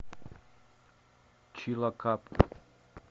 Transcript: чилакап